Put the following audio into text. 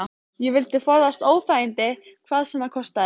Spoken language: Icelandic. Ég vildi forðast óþægindi hvað sem það kostaði.